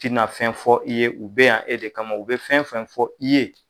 Ti na fɛn fɔ i ye u bɛ yan e de kama u bɛ fɛn fɛn fɔ i ye.